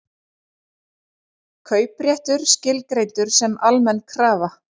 Kaupréttur skilgreindur sem almenn krafa